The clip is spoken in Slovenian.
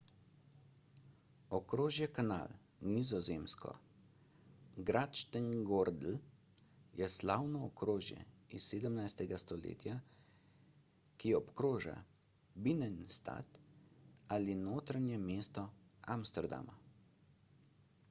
okrožje canal nizozemsko: grachtengordel je slavno okrožje iz 17. stoletja ki obkroža binnenstad ali notranje mesto amsterdama